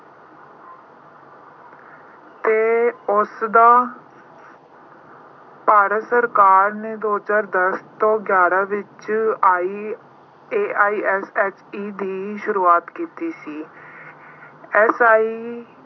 ਤੇ ਉਸਦਾ ਭਾਰਤ ਸਰਕਾਰ ਨੇ ਦੋ ਹਜ਼ਾਰ ਦਸ ਤੋਂ ਗਿਆਰ੍ਹਾਂ ਵਿੱਚ I ਅਹ AISHE ਦੀ ਸ਼ੁਰੂਆਤ ਕੀਤੀ ਸੀ।